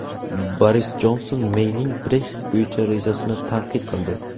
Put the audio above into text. Boris Jonson Meyning Brexit bo‘yicha rejasini tanqid qildi.